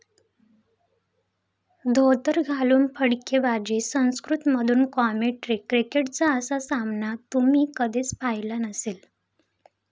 धोतर घालून फटकेबाजी... संस्कृतमधून कॉमेंट्री, क्रिकेटचा असा सामना तुम्ही कधीच पाहिला नसेल